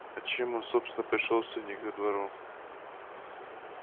а чем он собственно пришёлся не ко двору